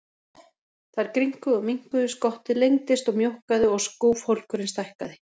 Þær grynnkuðu og minnkuðu, skottið lengdist og mjókkaði og skúfhólkurinn stækkaði.